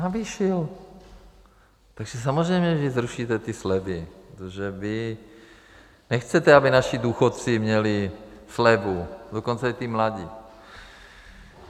Navýšil, takže samozřejmě že zrušíte ty slevy, protože vy nechcete, aby naši důchodci měli slevu, dokonce i ti mladí.